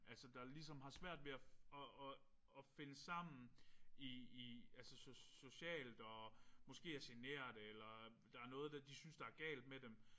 Altså der ligesom har svært ved at at at finde sammen i i altså socialt og måske er generte eller der er noget de synes der er galt med dem